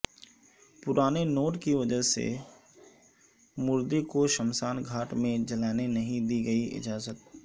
پرانے نوٹ کی وجہ سے مردے کو شمشان گھاٹ میں جلانے نہیں دی گئی اجازت